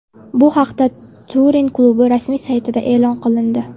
Bu haqda Turin klubi rasmiy saytida xabar qilindi .